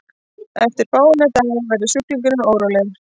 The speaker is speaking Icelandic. eftir fáeina daga verður sjúklingurinn órólegur